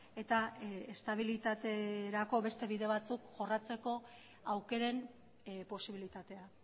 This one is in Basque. eta estabilitaterako beste bide batzuk jorratzeko aukeren posibilitatea